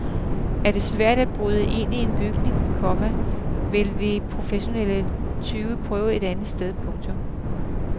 Er det svært at bryde ind i en bygning, komma vil de professionelle tyve prøve et andet sted. punktum